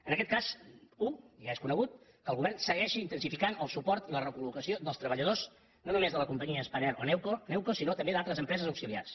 en aquest cas u ja és conegut que el govern segueixi intensificant el suport i la recollocació dels treballadors no només de la companyia spanair o newco sinó també d’altres empreses auxiliars